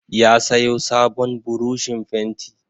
Ya sayo sabon burushin fenti.